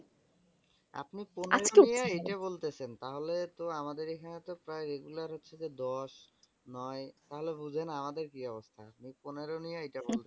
আপনি পনেরো নিয়েই এটা বলতেছেন তাহলে তো আমাদের এখানে তো প্রায় regular হচ্ছে যে দশ, নয় তাহলে বুঝেন আমাদের কি অবস্থা? ওই পনেরো নিয়ে এটা বলতেছেন।